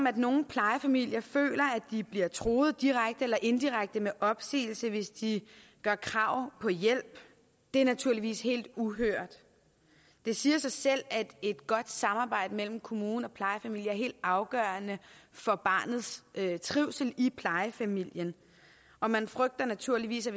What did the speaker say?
at nogle plejefamilier føler at de bliver truet direkte eller indirekte med opsigelse hvis de gør krav på hjælp er naturligvis helt uhørt det siger sig selv at et godt samarbejde mellem kommune og plejefamilie er helt afgørende for barnets trivsel i plejefamilien og man frygter naturligvis at